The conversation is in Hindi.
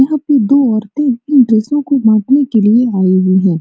यहां पे दो औरते इन ड्रेसों को बांटने के लिए आये हुए है।